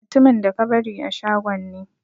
Mutumin da ka bari a shagon ne.